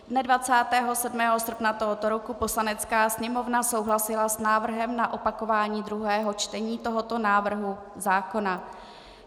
Dne 27. srpna tohoto roku Poslanecká sněmovna souhlasila s návrhem na opakování druhého čtení tohoto návrhu zákona.